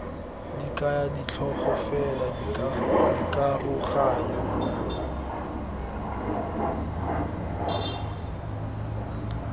di kaya ditlhogo fela dikaroganyo